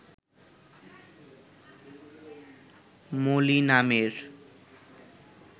মলি নামের